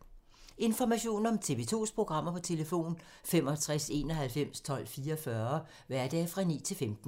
Information om TV 2's programmer: 65 91 12 44, hverdage 9-15.